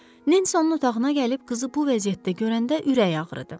Nensi onun otağına gəlib qızı bu vəziyyətdə görəndə ürəyi ağrıdı.